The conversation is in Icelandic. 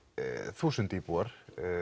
þúsund íbúar